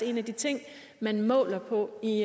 en af de ting man måler på i